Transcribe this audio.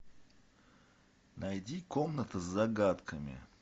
найди комната с загадками